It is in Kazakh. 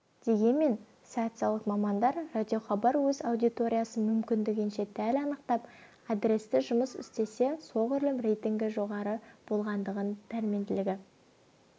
дегенмен социолог мамандар радиохабар өз аудиториясын мүмкіндігінше дәл анықтап адресті жұмыс істесе соғұрлым рейтингі жоғары болатындығын пәрменділігі